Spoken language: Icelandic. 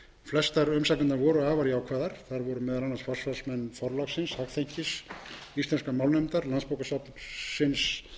flestar umsagnirnar voru afar jákvæðar þar voru meðal annars forsvarsmenn forlagsins hagþenkis íslenskrar málnefndar landsbókasafnsins